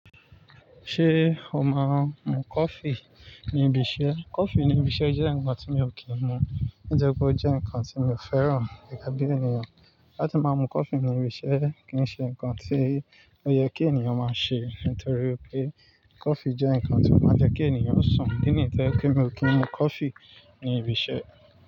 Ṣé o máa ń mu coffee ní ibi iṣẹ́? Coffee ní ibi iṣẹ́ jẹ́ ǹkan tí mi ò kí ń mu. Ǹitori pé ó jẹ́ ǹkan tí mi ò fẹ́ràn gẹ́gẹ́ bí ènìyàn. Látí máa mu coffee ní ibi iṣẹ́ kì í ṣe ǹkan tí ó yẹ kí ènìyàn máa ṣe nítorí pé coffee jẹ́ ǹkan tí ó máa ń jẹ́ kí ènìyàn sun. Ìdí nìyí tó je pé mi ò kí ń mu coffee ní ibi iṣẹ́?